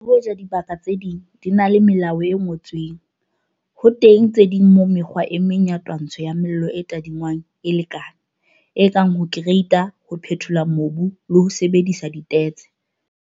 Le hoja dibaka tse ding di ena le melao e ngotsweng, ho teng tse ding moo mekgwa e meng ya twantsho ya mello e tadingwang e lekane, e kang ho kereita, ho phethola mobu, le ho sebedisa ditetse.